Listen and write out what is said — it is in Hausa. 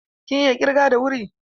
Kin iya ƙirga da wuri?